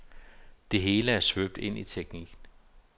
Det hele er svøbt ind i teknik.